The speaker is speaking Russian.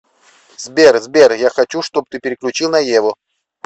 сбер сбер я хочу чтоб ты переключил на еву